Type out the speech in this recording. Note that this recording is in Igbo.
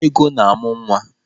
Ego na-amụ nwa.